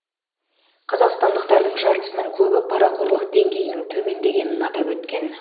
қазақстандықтардың жартысынан көбі парақорлық деңгейінің төмендегенін атап өткен